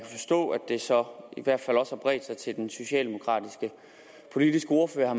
det så i hvert fald også har bredt sig til den socialdemokratiske politiske ordfører